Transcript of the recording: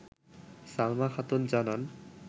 সালমা খাতুন জানান